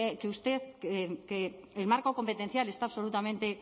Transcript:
usted que el marco competencial está absolutamente